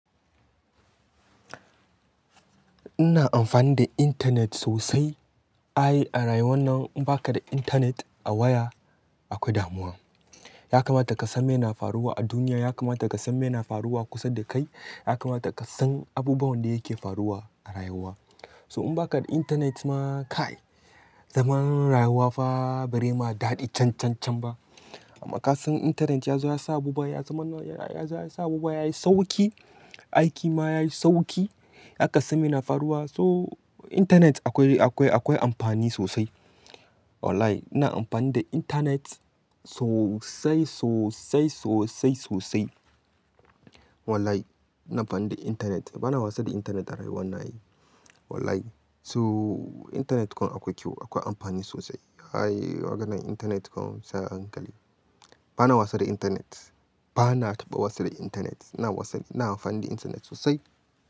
Ina amfani da internet sosai. Ai a rayuwar nan in baka da internet a waya akwai damuwa. Yakamata ka san me na faruwa a duniya, yakamata ka san me na faruwa kusa da kai, yakamata ka san abubuwan da yake faruwa a rayuwa. So in baka da internet ma kai zaman rayuwa fa barai ma daɗi cancancan ba. Amma ka san internet yazo ya sa abubuwa, ya zama, ya zo ya sa abubuwa yayi sauki, aiki ma yayi sauki. Baza ka san me na faruwa so internet akwai, akwai, akwai amfani sosai. Wallahi ina amfani da internet sosai, sosai, sosai, sosai. Wallahi ina amfani da internet. Bana wasa da internet a rayuwan na ai. Wallahi so internet kuwa akwai kyau, akwai amfani sosai. Ai maganar internet kuwa sai a hankali. Bana wasa da internet. Bana taba wasa da internet. Ina wasa, ina amfani da internet sosai.